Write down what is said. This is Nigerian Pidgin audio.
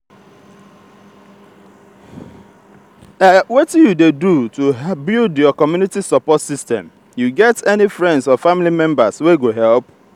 wetin you dey do to build your community support system you get any friends or family members wey go help?